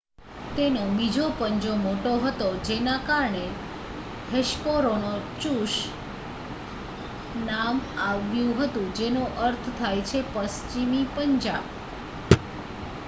"તેનો બીજો પંજો મોટો હતો જેના કારણે હેસ્પેરોનીચુસ નામ આવ્યું હતું જેનો અર્થ થાય છે "પશ્ચિમી પંજા"".